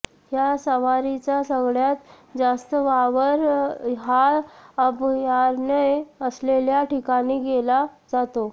या सवारीचा सगळ्यात जास्त वावर हा अभयारण्य असलेल्या ठिकाणी केला जातो